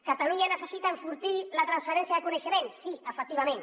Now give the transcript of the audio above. catalunya necessita enfortir la transferència de coneixement sí efectivament